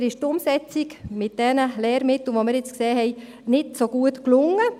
Leider ist die Umsetzung mit diesen Lehrmitteln, wie wir jetzt gesehen haben, nicht so gut gelungen.